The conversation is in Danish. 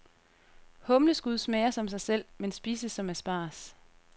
Humleskud smager som sig selv, men spises som asparges.